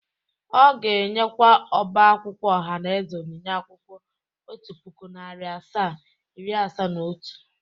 Ọ ga-enyekwa ọba akwụkwọ ohanaeze onyinye akwụkwọ otu puku, nari asaa, iri asaa na otu.